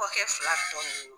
Kɔɔkɛ fila tɔ nun